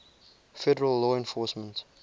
federal law enforcement